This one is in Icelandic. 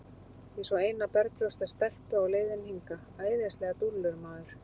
Ég sá eina berbrjósta stelpu á leiðinni hingað, æðislegar dúllur, maður.